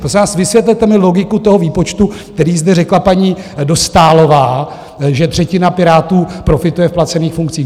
Prosím vás, vysvětlete mi logiku toho výpočtu, který zde řekla paní Dostálová, že třetina Pirátů profituje v placených funkcích.